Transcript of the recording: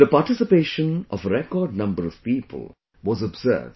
The participation of a record number of people was observed